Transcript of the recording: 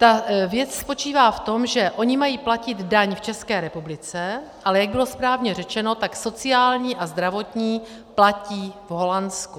Ta věc spočívá v tom, že oni mají platit daň v České republice, ale jak bylo správně řečeno, tak sociální a zdravotní platí v Holandsku.